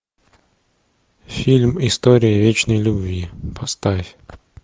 фильм история вечной любви поставь